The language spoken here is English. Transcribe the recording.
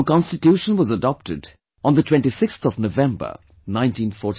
Our Constitution was adopted on 26th November, 1949